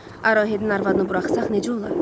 Arahidin arvadını buraxsaq necə olar?